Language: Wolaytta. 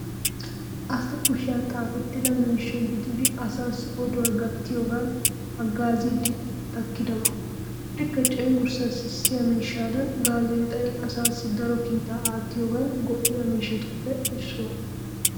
Asa kushiyan xaafettida miishsha gididi asaassi oduwa gattiyogan haggaaziiddi takkidaba. Likke cenggurssa sissiya miishshadan gaazeexay asaassi daro kiitaa aattiyogan go"iya miishshatuppe issuwa.